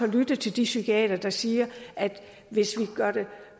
lyttet til de psykiatere der siger at hvis vi